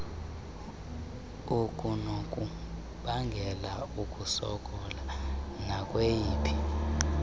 okunokubangela ukusokola nakweyiphi